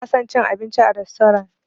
Bana son cin abinci a rastorant.